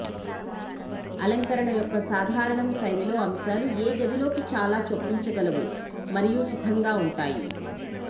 అలంకరణ యొక్క సాధారణం శైలిలో అంశాలు ఏ గదిలోకి చాలా చొప్పించగలవు మరియు సుఖంగా ఉంటాయి